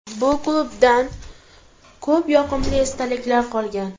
Bu klubdan ko‘p yoqimli esdaliklar qolgan.